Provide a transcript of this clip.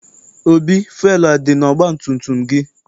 Obi, fụelụ adị n'ọgbatumtum gị?